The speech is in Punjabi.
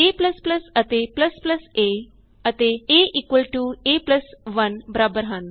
a ਅਤੇ a ਅਤੇ a a 1 ਬਰਾਬਰ ਹਨ